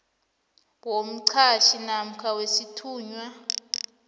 womqhatjhi namkha wesithunywa